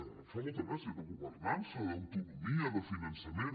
em fa molta gràcia de governança d’autonomia de finançament